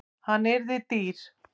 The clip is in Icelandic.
Hann yrði dýr.